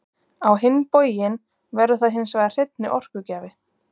Á hinn bóginn verður það hins vegar hreinni orkugjafi.